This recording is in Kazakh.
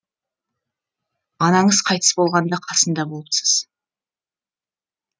анаңыз қайтыс болғанда қасында болыпсыз